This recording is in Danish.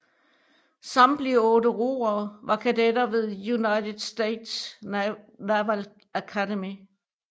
Samtlige otte roere var kadetter ved United States Naval Academy